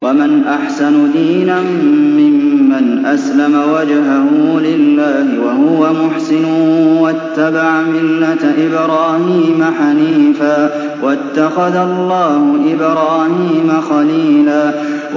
وَمَنْ أَحْسَنُ دِينًا مِّمَّنْ أَسْلَمَ وَجْهَهُ لِلَّهِ وَهُوَ مُحْسِنٌ وَاتَّبَعَ مِلَّةَ إِبْرَاهِيمَ حَنِيفًا ۗ وَاتَّخَذَ اللَّهُ إِبْرَاهِيمَ خَلِيلًا